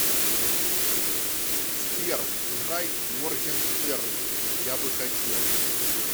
сбер играй моргенштерн я бы хотел